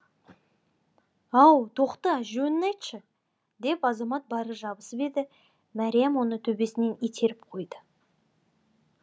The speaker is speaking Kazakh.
ау тоқта жөнін айтшы деп азамат бара жабысып еді мәриям оны төсінен итеріп қойды